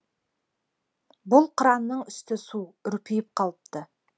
бұл қыранның үсті су үрпиіп қалыпты